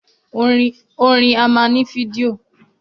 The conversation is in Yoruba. Orin á máa ní fídíò